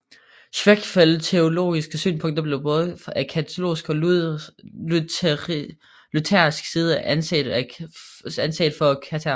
Schwenckfelds teologiske synspunkter blev både af katolsk og luthersk side anset for kættersk